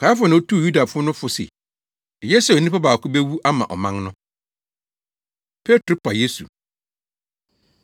Kaiafa na otuu Yudafo no fo se, eye sɛ onipa baako bewu ama ɔman no. Petro Pa Yesu